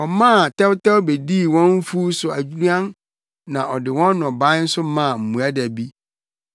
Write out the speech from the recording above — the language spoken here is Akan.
Ɔmaa tɛwtɛw bedii wɔn mfuw so aduan na ɔde wɔn nnɔbae nso maa mmoadabi.